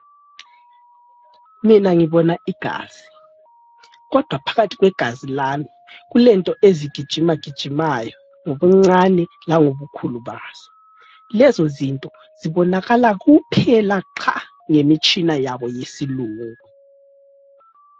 Mina ngibona igazi kodwa phakathi kwegazi lami kulento ezigijimagijimayo ngobuncane langobukhulu bazo. Lezo zinto zibonakala kuphela qha ngemitshina yabo yesilungu.